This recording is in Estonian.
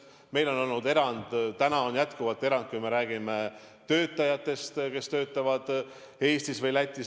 Meil on jätkuvalt tehtud erand töötajatele, kes töötavad Eestis või Lätis.